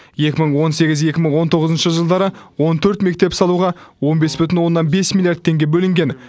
екі мың он сегіз екі мың он тоғызыншы жылдары он төрт мектеп салуға он бес бүтін оннан бес миллиард теңге бөлінген